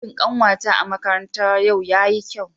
Jawabin kanwata a makaranta yau yayi kyau.